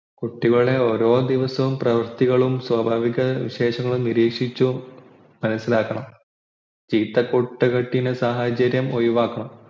കുട്ടികളുടെ ഓരോദിവസവുമുള്ള പ്രവർത്തികളും സ്വഭാവവിശേഷങ്ങളും നിരീക്ഷിച്ചു മനസിലാക്കണ ചീത്ത കൂട്ടുകെട്ടിനു സാഹചര്യം ഒഴിവാക്കണം